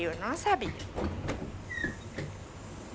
Eu não sabia.